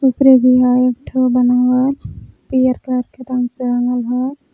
एक ठो बनावल पियर कलर के रंग से रंगल हय।